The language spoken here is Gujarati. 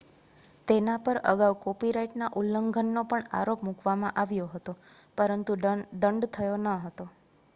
તેના પર અગાઉ કોપીરાઇટના ઉલ્લંઘનનો પણ આરોપ મૂકવામાં આવ્યો હતો પરંતુ દંડ થયો ન હતો